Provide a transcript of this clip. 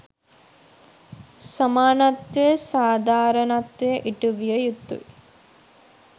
සමානත්වය සාධාරණත්වය ඉටුවිය යුතුයි.